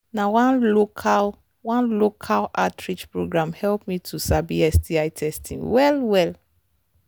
na one local one local outreach program help me to sabi sti testing well well